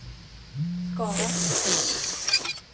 Skara